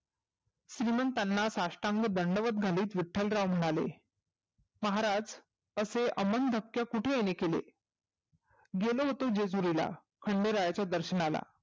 श्रिमंताना साष्टांग दंडवत घालीत विठ्ठलराव म्हणाले. महाराज असे अमन दबके कुठे येणे केले? गेलो होतो जेजुरीला, खंडेरायाच्या दर्शनाला.